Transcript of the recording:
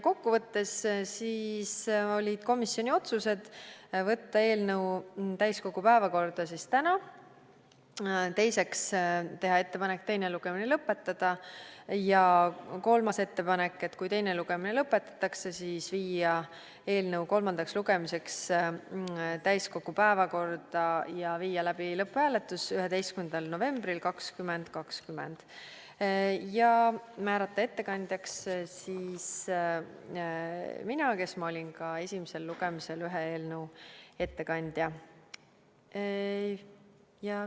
Kokkuvõttes olid komisjoni otsused võtta eelnõu täiskogu päevakorda täna, teiseks, teha ettepanek teine lugemine lõpetada ja kolmas ettepanek, kui teine lugemine lõpetatakse, siis panna eelnõu kolmandaks lugemiseks täiskogu päevakorda ja viia läbi lõpphääletus 11. novembril 2020 ja määrata ettekandjaks mina, kes ma olin ka esimesel lugemisel ühe eelnõu ettekandja.